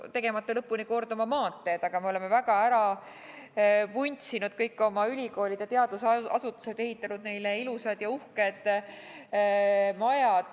Me oleme jätnud lõpuni ehitamata ja korda tegemata oma maanteed, aga me oleme väga ära vuntsinud kõik oma ülikoolid ja teadusasutused, ehitanud neile ilusad ja uhked majad.